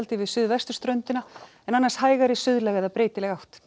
við suðvesturströndina en annars hægari suðlæg eða breytileg átt